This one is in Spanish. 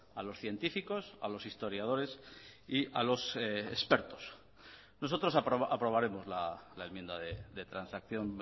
a los científicos a los historiadores y a los expertos nosotros aprobaremos la enmienda de transacción